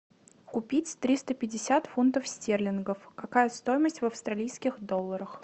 купить триста пятьдесят фунтов стерлингов какая стоимость в австралийских долларах